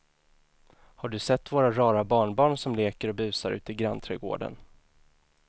Har du sett våra rara barnbarn som leker och busar ute i grannträdgården!